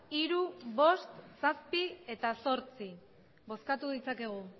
hiru bost zazpi eta zortzi bozkatu ditzakegu